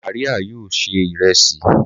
Màríà yóò ṣe iresi